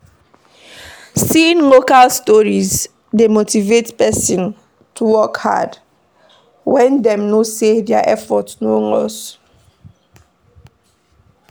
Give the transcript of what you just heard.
Seeing local stories dey motivate person to work hard when dem know sey their effort no loss